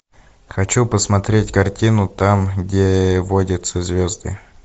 хочу посмотреть картину там где водятся звезды